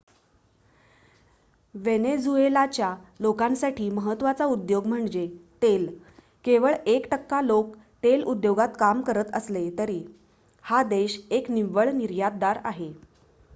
वेनेझुएलाच्या लोकांसाठी महत्वाचा उद्योग म्हणजे तेल केवळ एक टक्का लोक तेल उद्योगात काम करत असले तरी हा देश एक निव्वळ निर्यातदार आहे